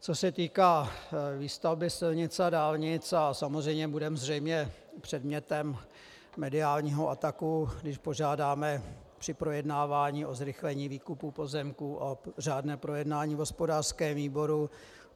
Co se týká výstavby silnic a dálnic - a samozřejmě budeme zřejmě předmětem mediálního ataku, když požádáme při projednávání o zrychlení výkupu pozemků o řádné projednání v hospodářském výboru.